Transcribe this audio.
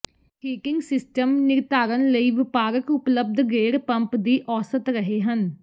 heating system ਨਿਰਧਾਰਨ ਲਈ ਵਪਾਰਕ ਉਪਲੱਬਧ ਗੇੜ ਪੰਪ ਦੀ ਔਸਤ ਰਹੇ ਹਨ